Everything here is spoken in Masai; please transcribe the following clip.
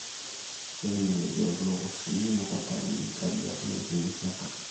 keinyal ilkiek lowoshi mukuntani nkariak neer inguesi enkare